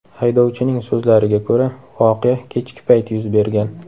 Haydovchining so‘zlariga ko‘ra, voqea kechki payt yuz bergan.